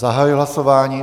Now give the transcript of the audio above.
Zahajuji hlasování.